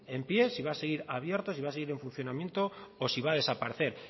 en pie si va a seguir abierto si va a seguir en funcionamiento o si va a desaparecer